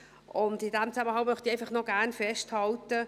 In diesem Zusammenhang möchte ich einfach gerne auch noch festhalten: